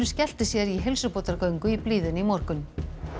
skellti sér í heilsubótargöngu í blíðunni í morgun